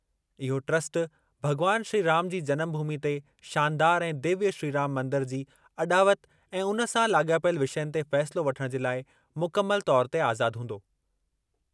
इहो ट्रस्ट भग॒वान श्री राम जी जनमभूमि ते शानदार ऐं दिव्य श्री राम मंदरु जी अॾावति ऐं उन सां लाॻापियल विषयनि ते फ़ैसिलो वठणु जे लाइ मुकमल तौरु ते आज़ाद हूंदो।